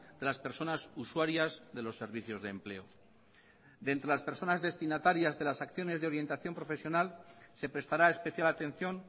de las personas usuarias de los servicios de empleo de entre las personas destinatarias de las acciones de orientación profesional se prestará especial atención